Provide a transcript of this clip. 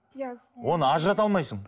иә оны ажырата алмайсың